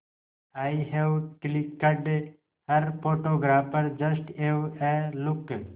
I have clicked her photographer just have a look